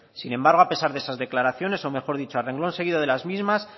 sin embargo a pesar de esas declaraciones o mejor dicho a renglón seguido de las mismas